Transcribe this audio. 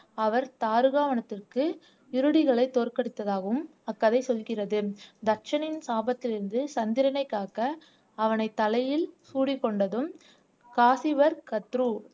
அவர் தாறுகாவனத்திற்கு இருடிகளை தோற்கடித்ததாகவும் அக்கதை சொல்கிறது தட்சனின் சாபத்திலிருந்து சந்திரனை காக்க அவனை தலையில் சூடிக்கொண்டதும் காசிவர்கத்ரு